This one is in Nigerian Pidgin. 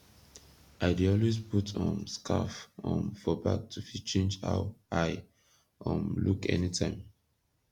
i dey always put um skarf um for bag to fit change how i um look anytime